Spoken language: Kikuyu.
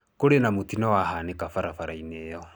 Kũrĩ na mũtino wahanĩka barabara-inĩ ĩyo.